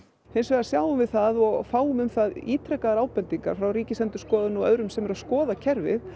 hins vegar sjáum við það og fáum um það ítrekaðar ábendingar frá Ríkisendurskoðun og öðrum sem eru að skoða kerfið